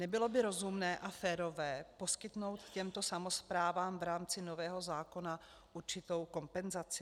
Nebylo by rozumné a férové poskytnout těmto samosprávám v rámci nového zákona určitou kompenzaci?